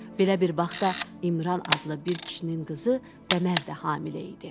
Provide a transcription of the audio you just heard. Belə bir vaxtda İmran adlı bir kişinin qızı Qəmər də hamilə idi.